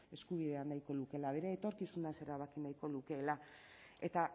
eskubidea nahiko lukeela bere etorkizunaz erabaki nahiko lukeela eta